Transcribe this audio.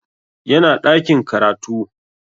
Yana ɗakin karatu